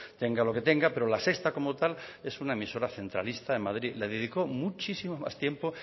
tenga lo que tenga pero la sexta como tal es una emisora centralista le dedicó muchísimo más tiempo